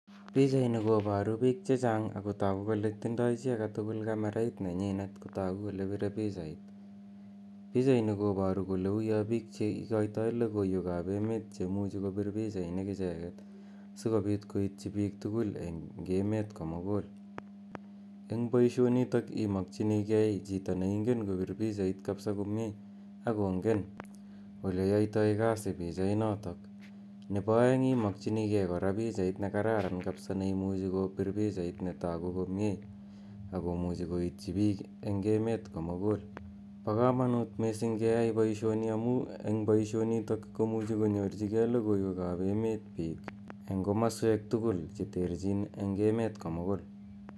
pichaini koparu piik che chang' ako tindai kamerait chi age tugul kole pire pichait. Pichaini kole uyo piik cha igoitoi logoiwek ap emet che imuchi kopir pichainik icheget sikopiit koitchi piik tugl eng' emet ko mugul. Eng' poishonitok imakchinigei ni kapsa kopir pichait komye ako ngen ole yoitoi kasi pichainotok. Nepo aeng' imakchinigei kora pichait ne kararan kapsa ako neimuchi kopir pichait ne tagu komye ako muchi koityi piik eng' emet ko mugul. Po kamanuut missi g' keyai poishoni amu eng' poishonitok komuchi konyorchigei logoiwek ap emet piik eng' komasweek tugul che terchin eng' emet ko mugul.